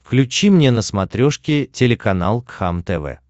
включи мне на смотрешке телеканал кхлм тв